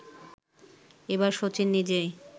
এবার শচীন নিজেই